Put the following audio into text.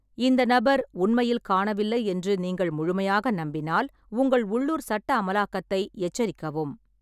இந்த நபர் உண்மையில் காணவில்லை என்று நீங்கள் முழுமையாக நம்பினால், உங்கள் உள்ளூர் சட்ட அமலாக்கத்தை எச்சரிக்கவும்.